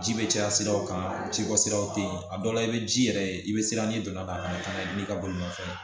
Ji bɛ caya siraw kan jibɔ siraw tɛ ye a dɔw la i bɛ ji yɛrɛ ye i bɛ siran ni donna a kana n'i ka bolimafɛn